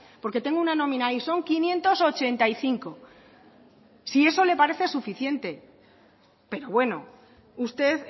porque tengo una nómina ahí son quinientos ochenta y cinco si eso le parece suficiente pero bueno usted